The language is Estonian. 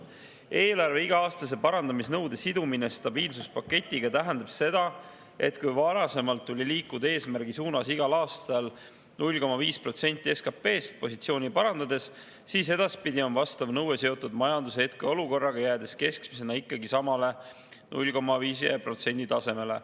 Eelarve iga-aastase parandamisnõude sidumine stabiilsuspaketiga tähendab seda, et kui varasemalt tuli liikuda eesmärgi suunas igal aastal 0,5% SKP‑st positsiooni parandades, siis edaspidi on vastav nõue seotud majanduse hetkeolukorraga, jäädes keskmisena samale 0,5% tasemele.